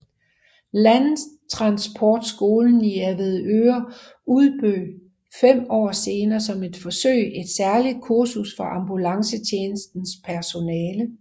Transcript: Landtransportskolen i Avedøre udbød fem år senere som et forsøg et særligt kursus for ambulancetjenestens personale